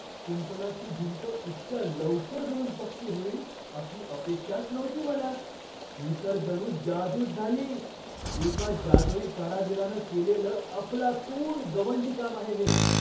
कुंपणाची भिंत इतक्या लवकर जुळून पक्की होईल अशी अपेक्षाच नव्हती मला, ही तर जणू जादूच झाली! एका जादूई कारागीरानं केलेलं अफलातून गवंडीकाम आहे हे.